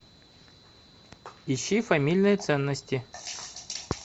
ищи фамильные ценности